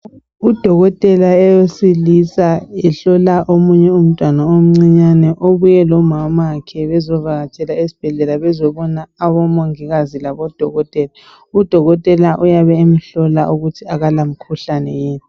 Udokotela owesilisa ehlola omunye umntwana omncinyane, obuye lomamakhe bezovakatshela esibhedlela bezobona omongikazi labodokotela. Udokotela uyabe emhlola ukuthi akalamkhuhlane yini.